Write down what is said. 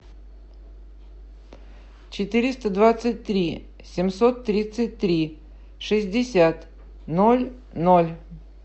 четыреста двадцать три семьсот тридцать три шестьдесят ноль ноль